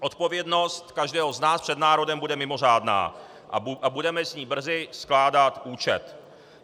Odpovědnost každého z nás před národem bude mimořádná a budeme z ní brzy skládat účet.